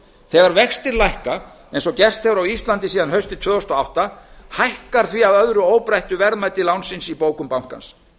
þegar vextir lækka eins og gert er á íslandi síðan haustið tvö þúsund og átta hækkar því að öðru óbreyttu verðmætið í bókum bankans